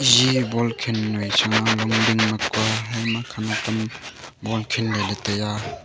ji ball khal noi chang a longding ma kua he makhang e ball khan le ley tai a.